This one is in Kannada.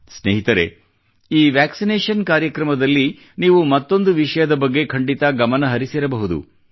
ಸ್ನೇಹಿತರೆ ಈ ವ್ಯಾಕ್ಸಿನೇಷನ್ ಕಾರ್ಯಕ್ರಮದಲ್ಲಿ ನೀವು ಮತ್ತೊಂದು ವಿಷಯದ ಬಗ್ಗೆ ಖಂಡಿತಾ ಗಮನ ಹರಿಸಿರಬಹುದು